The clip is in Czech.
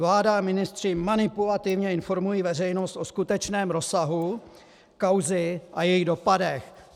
Vláda a ministři manipulativně informují veřejnost o skutečném rozsahu kauzy a jejích dopadech.